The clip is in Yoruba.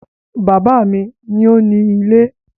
Bàbá mi ni ó ni ilé